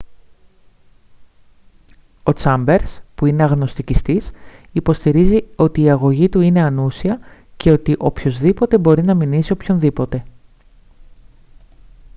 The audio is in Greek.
ο τσάμπερς που είναι αγνωστικιστής υποστηρίζει ότι η αγωγή του είναι «ανούσια» και ότι «οποιοσδήποτε μπορεί να μηνύσει οποιονδήποτε»